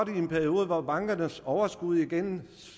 en periode hvor bankernes overskud igen